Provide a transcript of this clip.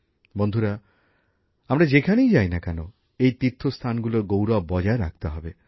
বন্ধুরা আমরা যেখানেই যাই না কেন এই তীর্থস্থানগুলোর গৌরব বজায় রাখতে হবে